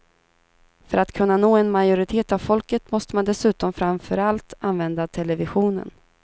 För att kunna nå en majoritet av folket måste man dessutom framför allt använda televisionen.